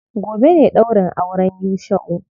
Gobe ne ɗaurin auren Yusha'u.